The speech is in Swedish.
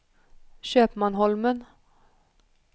Köpmanholmen